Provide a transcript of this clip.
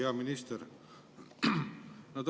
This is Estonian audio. Hea minister!